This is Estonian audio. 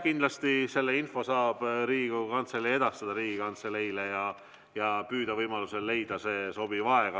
Kindlasti selle info saab Riigikogu Kantselei edastada Riigikantseleile ja püüda leida see sobiv aeg.